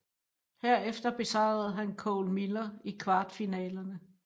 Herefter besejrede han Cole Miller i kvartfinalerne